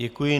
Děkuji.